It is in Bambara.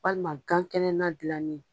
Walima gan kɛnɛ na dilanni